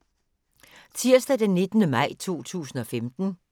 Tirsdag d. 19. maj 2015